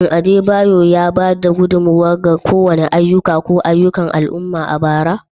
Shin Adebayor ya ba da gudummawa ga kowane ayyuka ko ayyukan al'umma a bara?